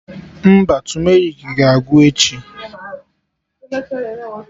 Mba, tumerik ga-agwụ echi